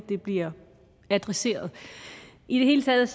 blive adresseret i det hele taget